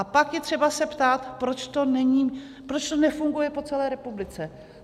A pak je třeba se ptát, proč to nefunguje po celé republice.